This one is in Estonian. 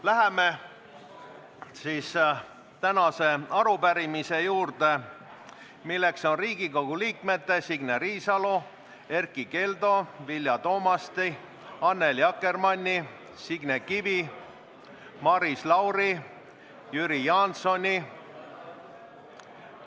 Läheme tänase arupärimise juurde, milleks on Signe Riisalo, Erkki Keldo, Vilja Toomasti, Annely Akkermanni, Signe Kivi, Maris Lauri, Jüri Jaansoni ...